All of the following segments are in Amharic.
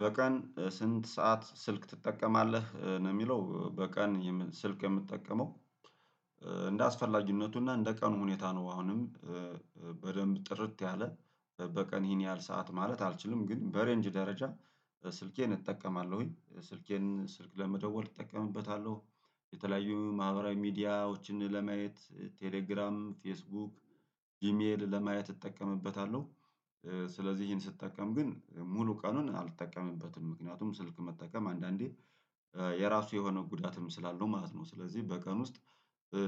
በቀን ስንት ሰዓት ስልክ ትጠቀማለህ? ነው የሚለው በቀን የም ስልክ የምጠቀመው። እንደ አስፈላጊነቱና እንደ ቀኑ ሁኔታ ነው። አሁንም በደንብ ጥርት ያለ በቀን ይሄን ያህል ሰዓት ማለት አልችልም ግን በሬንጅ ደረጃ ስልኬን እጠቀማለሁኝ ስልኬን ስልክ ለመደወል እጠቀምበታለሁ። የተለያዩ ማህበራዊ ሚዲያዎችን ለማየት ቴሌግራም ፌስቡክ ጂሜል ለማየት እጠቀምበታለሁ። ስለዚህ ይሄን ስትጠቀም ግን ሙሉ ቀኑን አልጠቀምበትም ምክንያቱም ስልክ መጠቀም አንዳንዴ የራሱ የሆነ ጉዳትም ስላለው ማለት ነው። ስለዚህ በቀን ውስጥ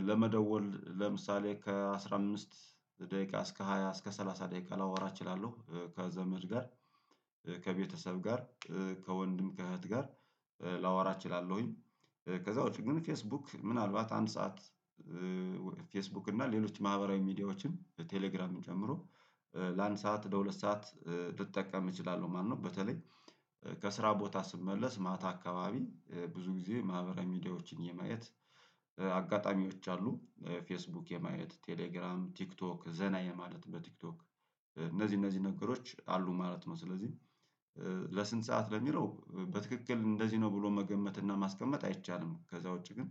ለመደወል ለምሳሌ ከአስራ አምስት ደቂቃ እስከ ሃያ እስከ ስላሳ ደቂቃ ላወራ እችላለሁ ከዘመድ ጋር ከቤተሰብ ጋር ከወንድም ከእህት ጋር ላወራ እችላለሁኝ። ከዛውጭ ግን ፌስቡክ ምናልባት አንድ ሰዓት ፌስቡክ እና ሌሎች ማህበራዊ ሚዲያዎችን ቴሌግራምን ጨምሮ ለአንድ ሰዓት ለሁለት ሰዓት ልጠቀም እችላለሁ ማለትነው። በተለይ ከስራ ቦታ ስመለስ ማታ አካባቢ ብዙ ጊዜ ማህበራዊ ሚዲያዎችን የማየት አጋጣሚዎች አሉ ፌስቡክ የማየት ቴሌግራም ቲክቶክ ዘና የማለት በቲክቶክ እነዚህ እነዚህ ነገሮች አሉ ማለት ነው። ስለዚህ ለስንት ሰዓት ለሚለው በትክክል እንደዚህ ነው ብሎ መገመት እና ማስቀመጥ አይቻልም። ከዛ ውጪ ግን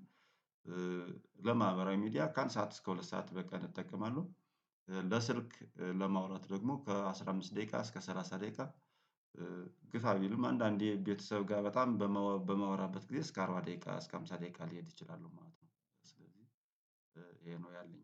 ለማህበራዊ ሚዲያ ከአንድ ሰዓት እስከ ሁለት ሰዓት በቀን እጠቀማለሁ። ለስልክ ለማውራት ደግሞ ከአስራ አምስት ደቂቃ እስከ ሰላሳ ደቂቃ። ግፋቢልም አንዳንዴ ቤተሰብ ጋር በጣም በማ በማወራበት ጊዜ እስከ አርባ ደቂቃ እስከ ሃምሳ ደቂቃ ልሄድ እችላለሁ ማለት ነው። ስለዚህ ይሄ ነው ያለኝ